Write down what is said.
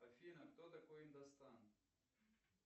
афина кто такой индостан